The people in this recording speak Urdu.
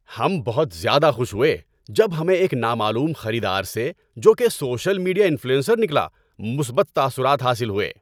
ہم بہت زیادہ خوش ہوئے جب ہمیں ایک نامعلوم خریدار سے، جو کہ سوشل میڈیا انفلوئنسر نکلا، مثبت تاثرات حاصل ہوئے۔